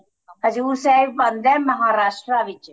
ਹਜੂਰ ਸਾਹਿਬ ਬਣਦਾ Maharashtra ਵਿੱਚ